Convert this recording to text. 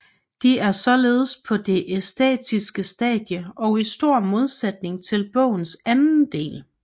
De er således på det æstetiske stadie og i stor modsætning til bogens anden del